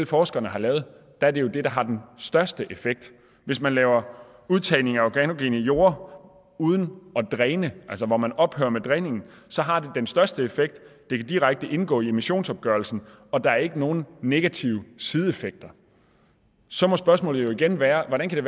forskerne har lavet er det jo det der har den største effekt hvis man laver udtagning af organogene jorde uden at dræne altså hvor man ophører med dræningen har det den største effekt det kan direkte indgå i emissionsopgørelsen og der er ikke nogen negative sideeffekter så må spørgsmålet jo igen være hvordan kan